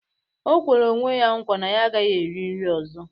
O kwere onwe ya nkwa na ya agaghị eri nri ọzọ